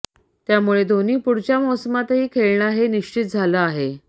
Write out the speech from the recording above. त्यामुळे धोनी पुढच्या मोसमातही खेळणार हे निश्चित झालं आहे